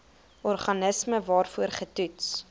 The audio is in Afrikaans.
organisme waarvoor getoets